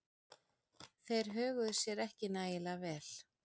Þeir höguðu sér ekki nægilega vel.